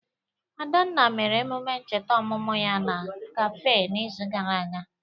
Adanna mere ememe ncheta ọmụmụ ya na kafe n'izu gara aga.